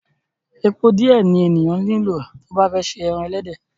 Epo díẹ̀ ni ènìyàn nílò tí ó bá fẹ́ se ẹran ẹlẹ́dẹ̀.